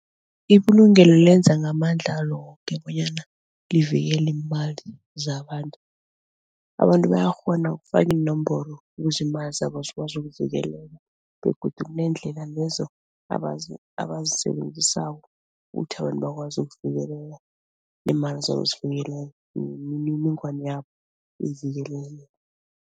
Ibulungelo lenza ngamandlalo woke bonyana livikele iimali zabantu. Abantu bayakghona ukufaka iinomboro ukuze iimali zabo zikwazi ukuvikeleka begodu kuneendlela lezo abazisebenzisako ukuthi abantu bakwazi ukuvikeleka neemali zabo zivikeleke nemininingwana yabo ivikeleke.